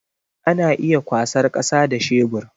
Ana iya kwasar kasa da shebur